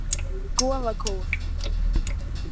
Goðakór